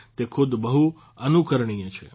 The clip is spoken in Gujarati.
તે ખુદ બહુ અનુકરણીય છે